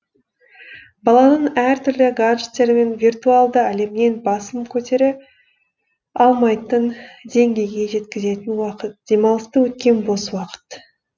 баланың әр түрлі гаджеттер мен виртуалды әлемнен басын көтере алмайтын деңгейге жеткізетін уақыт демалыста өткен бос уақыт